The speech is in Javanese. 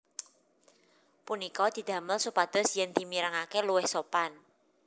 Punika didamel supados yen dimirengake luwih sopan